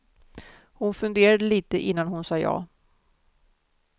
Hon funderade lite innan hon sade ja.